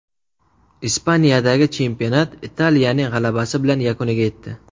Ispaniyadagi chempionat Italiyaning g‘alabasi bilan yakuniga yetdi.